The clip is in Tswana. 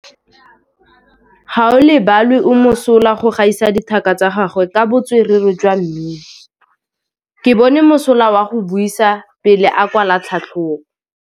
Gaolebalwe o mosola go gaisa dithaka tsa gagwe ka botswerere jwa mmino. Ke bone mosola wa go buisa pele o kwala tlhatlhobô.